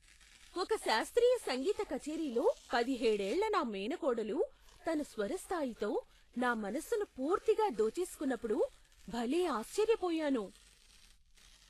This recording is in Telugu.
ఒక శాస్త్రీయ సంగీత కచేరీలో పదిహేడేళ్ల నా మేనకోడలు తన స్వర స్థాయితో నా మనసును పూర్తిగా దోచేసుకున్నప్పుడు భలే ఆశ్చర్యపోయాను.